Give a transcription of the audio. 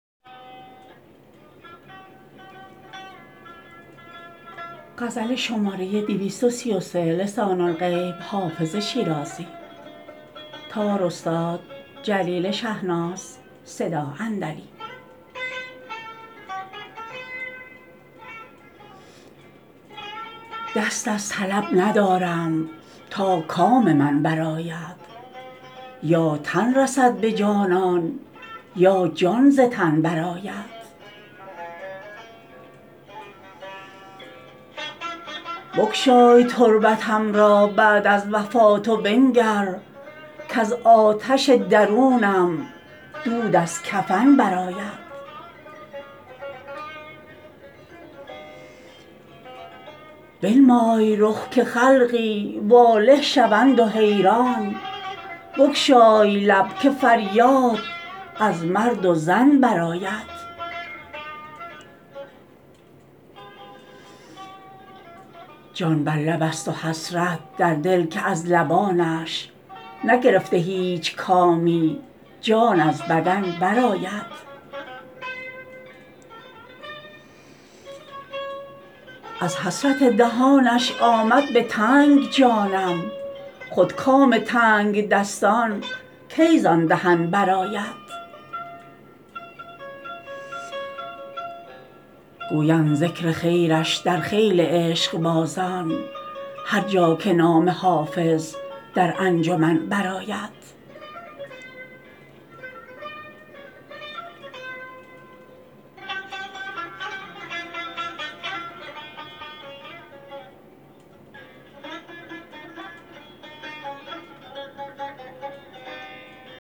دست از طلب ندارم تا کام من برآید یا تن رسد به جانان یا جان ز تن برآید بگشای تربتم را بعد از وفات و بنگر کز آتش درونم دود از کفن برآید بنمای رخ که خلقی واله شوند و حیران بگشای لب که فریاد از مرد و زن برآید جان بر لب است و حسرت در دل که از لبانش نگرفته هیچ کامی جان از بدن برآید از حسرت دهانش آمد به تنگ جانم خود کام تنگدستان کی زان دهن برآید گویند ذکر خیرش در خیل عشقبازان هر جا که نام حافظ در انجمن برآید